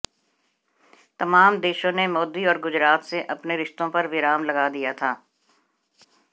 तमाम देशों ने मोदी और गुजरात से अपने रिश्तों पर विराम लगा दिया था